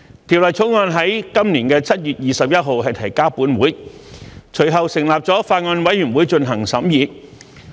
《條例草案》於今年7月21日提交本會，隨後本會成立了法案委員會進行審議。